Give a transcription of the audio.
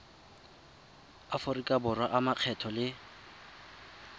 aforika borwa a makgetho le